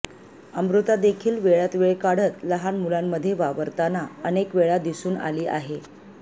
अमृतादेखील वेळात वेळ काढत लहान मुलांमध्ये वावरताना अनेकवेळा दिसून आली आहे